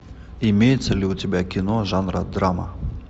имеется ли у тебя кино жанра драма